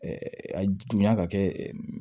a dunya ka kɛ